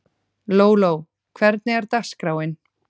Lóló, hvernig er dagskráin?